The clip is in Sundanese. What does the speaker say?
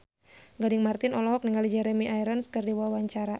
Gading Marten olohok ningali Jeremy Irons keur diwawancara